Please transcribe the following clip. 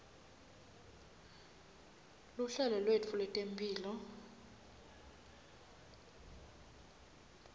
luhlelo lwetfu lwetemphilo